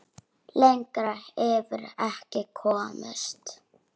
Lengra yrði ekki komist.